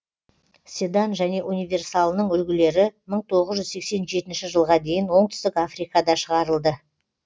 седан және универсалының үлгілері мың тоғыз жүз сексен жетінші жылға дейін оңтүстік африкада шығарылды